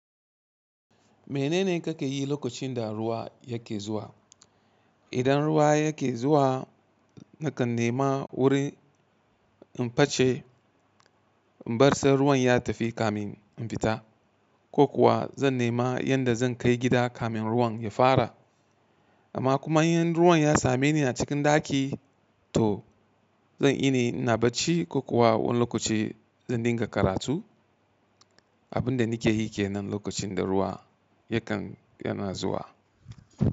Menene kake yi lokacin da ruwa yake zuwa? Idan ruwa yake zuwa, nakan nema wurin in face, in bar sai ruwan ya tafi kamin in fita ko kuwa, zan nema yadda zan kai gida kamin ruwan ya fara. Amma kuma in ruwan ya same ni a cikin ɗaki, to zan yini na bacci ko kuwa wani lokaci zan dinga karatu. Abin da nikeyi ke nan lokacin da ruwa yakan, yana zuwa.